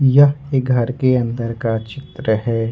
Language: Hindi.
यह एक घर के अंदर का चित्र है।